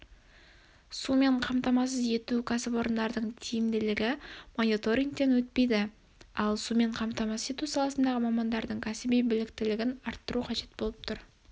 сумен қамтамасыз ету ксіпорындарының тиімділігі мониторингтен өтпейді ал сумен қамтамасыз ету саласындағы мамандардың кәсіби біліктілігін арттыру қажет болып тұр